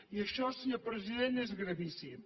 i això senyor president és gravíssim